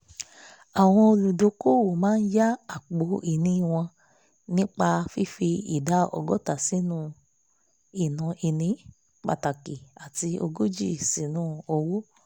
àwọn olùdókòwò máa ya àpọ̀ ìní wọn nípa fífi ìdá ọgọ́ta sínú ìní pàtàkì àti ògójì sínu owó